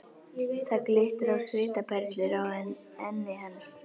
Það glittir á svitaperlur á enni hans.